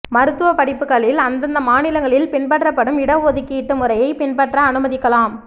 மருத்துவ படிப்புக்களில் அந்தந்த மாநிலங்களில் பின்பற்றப்படும் இடஒதுக்கீட்டு முறையை பின்பற்ற அனுமதிக்கலாம்